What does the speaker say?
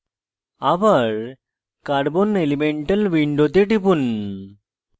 আবার carbon elemental window টিপুন